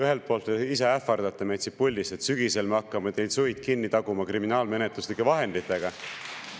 Ühelt poolt ise ähvardate meid siit puldist, et sügisel me hakkame teil suid kinni taguma kriminaalmenetluslike vahenditega.